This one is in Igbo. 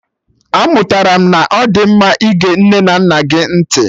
Amụtara m na ọ dị mma ịge nne na nna gị ntị